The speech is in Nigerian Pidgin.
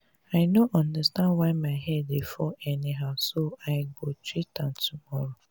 i no understand why my hair dey fall anyhow so i go treat am tomorrow